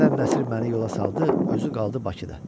Denən Nəsir məni yola saldı, özü qaldı Bakıda.